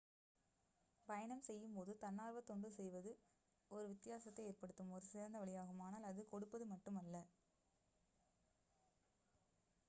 பயணம் செய்யும் போது தன்னார்வத் தொண்டு செய்வது ஒரு வித்தியாசத்தை ஏற்படுத்தும் ஒரு சிறந்த வழியாகும் ஆனால் அது கொடுப்பது மட்டுமல்ல